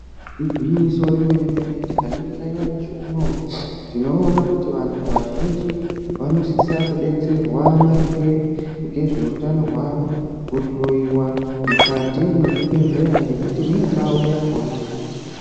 Igwinyiso remene-mene tikaningira nyamashi unowu tinoona kuti vantu vazhinji vanosisa kudetserwa maringe ngezveutano hwavo. Kuhloyiwa mukati mwezvibhehleya ngekuti mune ndau yakhona.